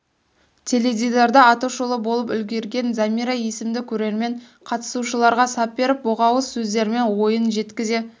теледидарда атышулы болып үлгерген замира есімді көрермен қатысушыларға сап беріп боқ ауыз сөздермен ойың жеткізе